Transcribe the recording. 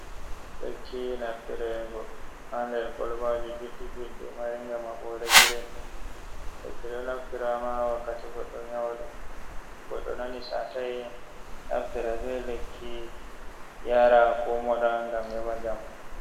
Lekki naftirego ha nder kolbaji juɗɗi juɗɗi maringa ma ɓɓode grin. Lekki ɗo naftirama wakkati goɗɗo nyauɗo goɗɗo nani satai naftiran be lakki yara ko moɗa ngam heba njamu.